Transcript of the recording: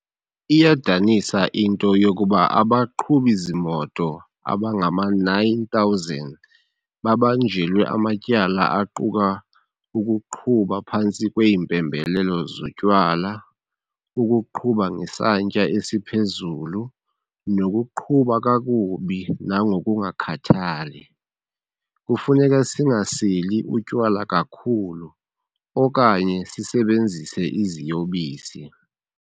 Iyadanisa into yokuba abaqhubi zimoto abangama-9,000 babanjelwe amatyala aquka ukuqhuba phantsi kweempembelelo zotywala, ukuqhuba ngesantya esiphezulu, nokuqhuba kakubi nangokungakhathali. Kufuneka singaseli utywala kakhulu okanye sisebenzise iziyobisi.